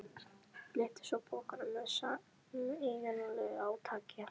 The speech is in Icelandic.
Lyftu svo pokanum með sameiginlegu átaki.